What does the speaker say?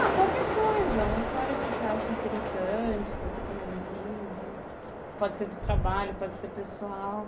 Ah, qualquer coisa, uma história que você ache interessante, que você tenha vivido, pode ser do trabalho, pode ser pessoal.